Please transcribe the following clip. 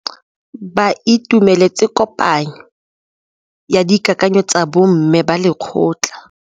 Ba itumeletse kôpanyo ya dikakanyô tsa bo mme ba lekgotla.